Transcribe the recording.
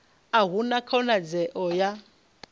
a hu na khonadzeo ya